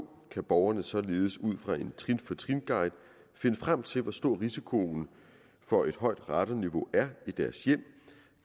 kan borgerne således ud fra en trin for trin guide finde frem til hvor stor risikoen for et højt radonniveau er i deres hjem